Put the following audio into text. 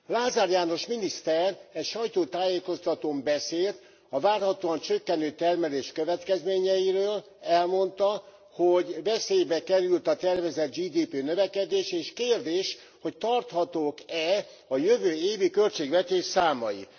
Lázár János miniszter egy sajtótájékoztatón beszélt a várhatóan csökkenő termelés következményeiről. Elmondta, hogy veszélybe került a tervezett GDP növekedés, és kérdés, hogy tarhatók e a jövő évi költségvetés számai.